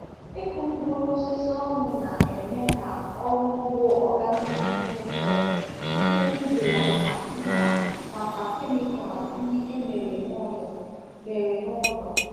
Ịkụ mkpụrụ osisi ọnụ na-eme ka ọrụ ugbo organic dị mfe site n’ibelata mkpa maka kemịkal ndị e mere n’ụlọ. mere n’ụlọ.